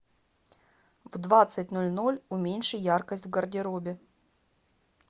в двадцать ноль ноль уменьши яркость в гардеробе